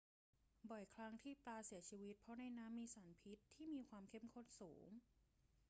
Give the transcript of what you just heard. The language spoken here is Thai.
บ่อยครั้งที่ปลาเสียชีวิตเพราะในน้ำมีสารพิษที่มีความเข้มข้นสูง